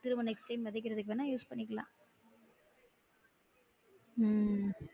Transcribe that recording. அத நம்ம next time விதைக்குரதுக்கு வேணா use பண்ணிக்கிலாம் உம்